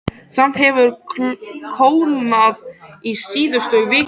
Samt hefur kólnað í síðustu viku.